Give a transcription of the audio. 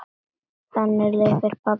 Þannig lifir pabbi áfram.